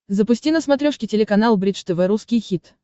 запусти на смотрешке телеканал бридж тв русский хит